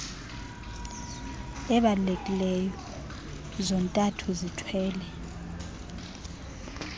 ebalulekiileyo zontathu zithwele